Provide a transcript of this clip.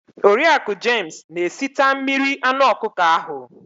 Oriaku james na esita mmiri anụ ọkụkọ ahu